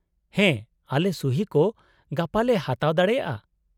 -ᱦᱮᱸ, ᱟᱞᱮ ᱥᱩᱦᱤ ᱠᱚ ᱜᱟᱯᱟ ᱞᱮ ᱦᱟᱛᱟᱣ ᱫᱟᱲᱮᱭᱟᱜᱼᱟ ᱾